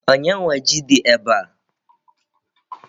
Onye nwe ji dị ebe a?